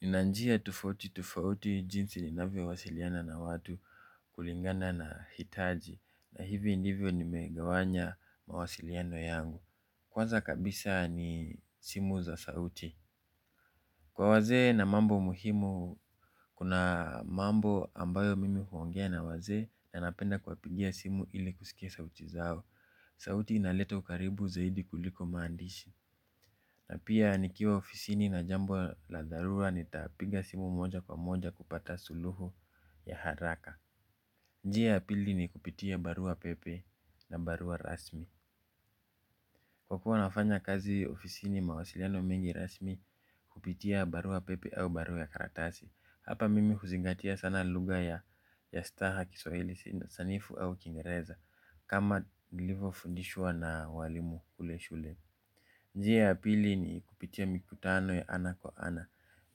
Nina njia tofauti tofauti jinsi ninavyo wasiliana na watu kulingana na hitaji na hivi ndivyo nimegawanya mawasiliano yangu. Kwaza kabisa ni simu za sauti. Kwa wazee na mambo muhimu, kuna mambo ambayo mimi huongea na wazee na napenda kuwapigia simu ili kusikia sauti zao. Sauti inaleta ukaribu zaidi kuliko maandishi. Na pia nikiwa ofisini na jambo la dharura nitapiga simu moja kwa moja kupata suluhu ya haraka. Njia ya pili ni kupitia barua pepe na barua rasmi. Kwa kuwa nafanya kazi ofisini mawasiliano mingi rasmi hupitia barua pepe au barua ya karatasi. Hapa mimi huzingatia sana lugha ya staha kiswahili sanifu au kiingereza, kama nilivyofundishwa na walimu kule shule. Njia ya pili ni kupitia mikutano ya ana kwa ana.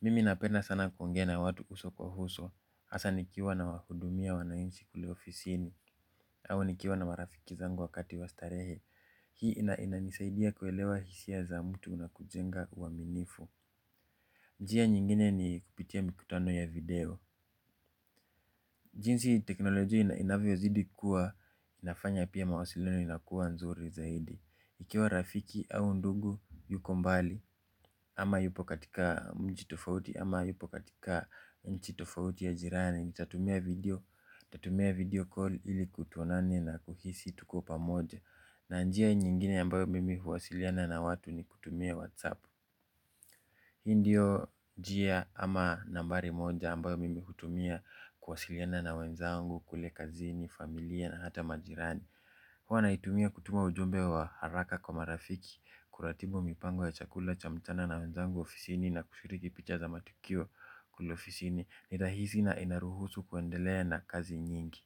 Mimi napenda sana kuongea na watu uso kwa uso. Hasa nikiwa nawahudumia wananchi kule ofisini. Au nikiwa na marafiki zangu wakati wa starehe. Hii ina inanisaidia kuelewa hisia za mtu na kujenga uaminifu. Njia nyingine ni kupitia mikutano ya video. Jinsi teknolojia inavyozidi kuwa inafanya pia mawasiliano inakuwa nzuri zaidi. Ikiwa rafiki au ndugu yuko mbali ama yupo katika mji tofauti ama yupo katika nchi tofauti ya jirani, nitatumia video, nitatumia video call ili tuonane na kuhisi tuko pamoja. Na njia nyingine ambayo mimi huwasiliana na watu ni kutumia whatsapp. Hii ndio njia ama nambari moja ambayo mimi hutumia kuwasiliana na wenzangu, kule kazini, familia na hata majirani. Huwa naitumia kutuma ujumbe wa haraka kwa marafiki, kuratibu mipango ya chakula cha mchana na wenzangu ofisini na kushiriki picha za matukio kule ofisini. Ni rahisi na inaruhusu kuendelea na kazi nyingi.